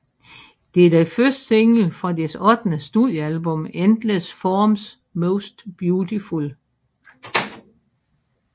Det er den første single fra deres ottende studiealbum Endless Forms Most Beautiful